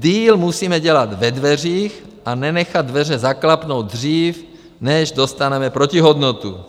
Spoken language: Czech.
Deal musíme dělat ve dveřích a nenechat dveře zaklapnout dřív, než dostaneme protihodnotu.